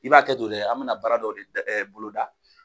I b'a hakɛ to dɛ, an bɛna baara dɔ boloda.